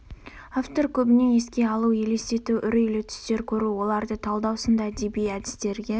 автор көбіне еске алу елестету үрейлі түстер көру оларды талдау сынды әдеби әдістерге